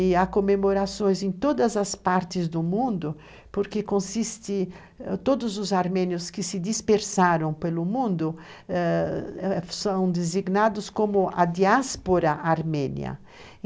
E há comemorações em todas as partes do mundo, porque consiste, ãh, todos os armênios que se dispersaram pelo mundo ãh, são designados como a diáspora armênia.